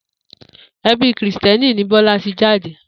E̩bi Krìsté̩nì ni Bó̩la ti jade